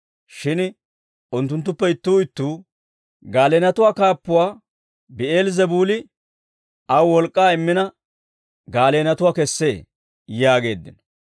Shin unttunttuppe ittuu ittuu, «Gaaleenatuwaa kaappuwaa Bi'eel-Zebuuli aw wolk'k'aa immina gaaleenatuwaa kessee» yaageeddino.